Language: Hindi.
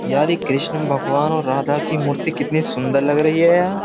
यार ये कृष्ण भगवान और राधा की मूर्ति कितनी सुंदर लग रही है यार।